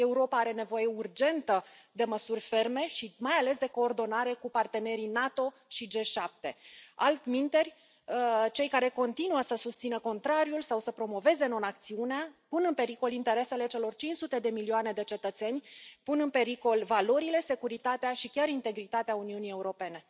Europa are nevoie urgentă de măsuri ferme și, mai ales, de coordonare cu partenerii NATO și G7. Altminteri, cei care continuă să susțină contrariul sau să promoveze non acțiunea pun în pericol interesele celor 500 de milioane de cetățeni, pun în pericol valorile, securitatea și chiar integritatea Uniunii Europene.